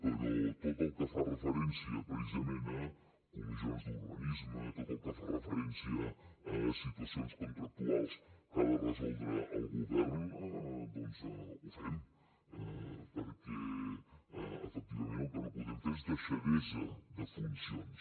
però tot el que fa referència precisament a comissions d’urbanisme tot el que fa referència a situacions contractuals que ha de resoldre el govern doncs ho fem perquè efectivament el que no podem fer és deixadesa de funcions